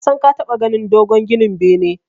Nasan ka taɓa ganin dogon ginin bene.